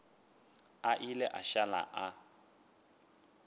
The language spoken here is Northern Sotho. a ile a šala a